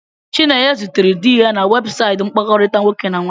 Chinenye zutere di ya na webụsaịtị mkpakọrịta nwoke na nwaanyị.